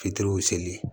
Fitiriw seli